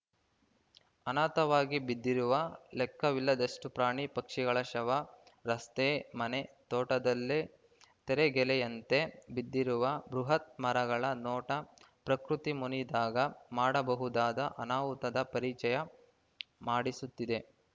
ಅನಾಥವಾಗಿ ಬಿದ್ದಿರುವ ಲೆಕ್ಕವಿಲ್ಲದಷ್ಟುಪ್ರಾಣಿಪಕ್ಷಿಗಳ ಶವ ರಸ್ತೆ ಮನೆ ತೋಟದಲ್ಲಿ ತರೆಗೆಲೆಯಂತೆ ಬಿದ್ದಿರುವ ಬೃಹತ್‌ ಮರಗಳ ನೋಟ ಪ್ರಕೃತಿ ಮುನಿದಾಗ ಮಾಡಬಹುದಾದ ಅನಾಹುತದ ಪರಿಚಯ ಮಾಡಿಸುತ್ತಿದೆ